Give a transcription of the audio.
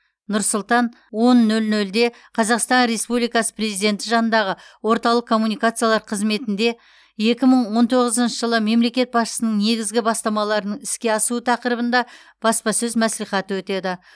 нұр сұлтан он нөл нөлде қазақстан республикасы президенті жанындағы орталық коммуникациялар қызметінде екі мың он тоғызыншы жылы мемлекет басшысының негізгі бастамаларының іске асуы тақырыбында баспасөз мәслихаты өтеді